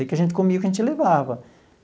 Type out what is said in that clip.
É que a gente comia o que a gente levava.